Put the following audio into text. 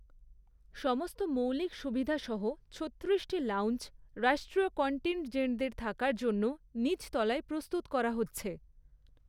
সমস্ত মৌলিক সুবিধা সহ ছত্রিশটি লাউঞ্জ, রাষ্ট্রীয় কন্টিনজেন্টদের থাকার জন্য নিচতলায় প্রস্তুত করা হচ্ছে।